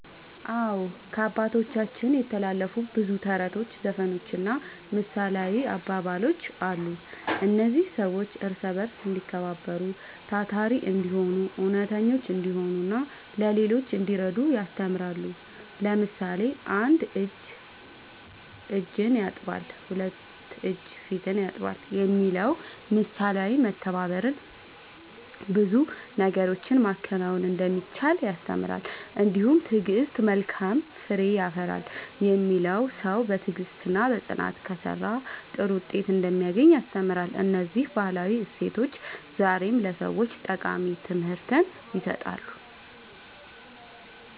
አዎ፣ ከአባቶቻችን የተላለፉ ብዙ ተረቶች፣ ዘፈኖችና ምሳሌያዊ አባባሎች አሉ። እነዚህ ሰዎች እርስ በርስ እንዲከባበሩ፣ ታታሪ እንዲሆኑ፣ እውነተኞች እንዲሆኑና ለሌሎች እንዲረዱ ያስተምራሉ። ለምሳሌ፣ ‘አንድ እጅ እጅን ያጥባል፣ ሁለት እጅ ፊትን ያጥባል’ የሚለው ምሳሌ በመተባበር ብዙ ነገሮችን ማከናወን እንደሚቻል ያስተምራል። እንዲሁም ‘ትዕግሥት መልካም ፍሬ ያፈራል’ የሚለው ሰው በትዕግሥትና በጽናት ከሠራ ጥሩ ውጤት እንደሚያገኝ ያስተምራል። እነዚህ ባህላዊ እሴቶች ዛሬም ለሰዎች ጠቃሚ ትምህርት ይሰጣሉ።"